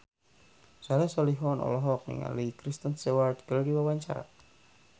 Soleh Solihun olohok ningali Kristen Stewart keur diwawancara